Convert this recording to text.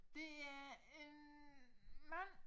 Det er en mand